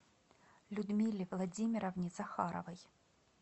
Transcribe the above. людмиле владимировне захаровой